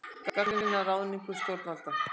Gagnrýna ráðningu stjórnvalda